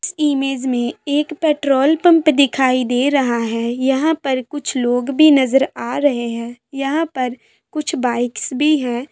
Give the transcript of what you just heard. इस इमेज में एक पेट्रोल पंप दिखाई दे रहा है यहाँ पर कुछ लोग भी नजर आ रहे है यहाँ पर कुछ बाइक्स भी है।